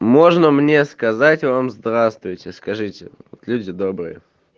можно мне сказать вам здравствуйте скажите вот люди добрые